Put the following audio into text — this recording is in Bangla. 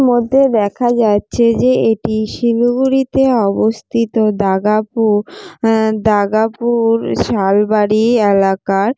মধ্যে দেখা যাচ্ছে যে এটি শিলিগুড়িতে অবস্থিত দাগাঁ পুর আঃ দাগা পুর শাল বাড়ি এলাকার।